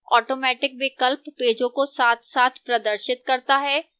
automatic विकल्प पेजों को साथसाथ प्रदर्शित करता है